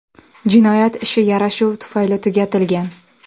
Jinoyat ishi yarashuv tufayli tugatilgan.